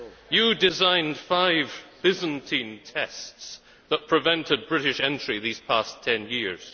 You designed five byzantine tests that prevented British entry these past 10 years.